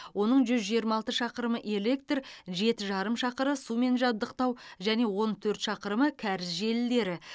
оның жүз жиырма алты шақырымы электр жеті жарым шақырымы сумен жабдықтау және он төрт шақырымы кәріз желілері